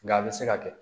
Nga a bɛ se ka kɛ